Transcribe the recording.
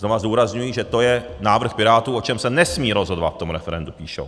Znovu zdůrazňuji, že to je návrh Pirátů, o čem se nesmí rozhodovat v tom referendu, píšou.